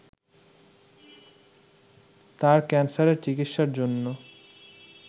তার ক্যান্সারের চিকিৎসার জন্য